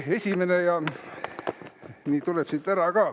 See tuleb siit välja ka.